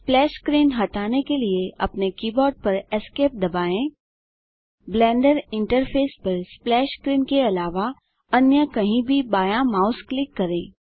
splash screen हटाने के लिए अपने कीबोर्ड पर ESC दबाएँ या ब्लेंडर इंटरफेस पर स्प्लैश स्क्रीन के अलावा अन्य कहीं भी बायाँ माउस क्लिक करें